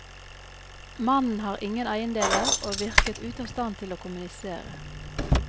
Mannen har ingen eiendeler og virker ute av stand til å kommunisere.